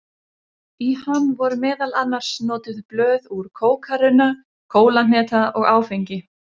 Í hann voru meðal annars notuð blöð úr kókarunna, kólahneta og áfengi.